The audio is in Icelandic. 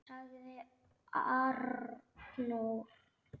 ., sagði Arnór.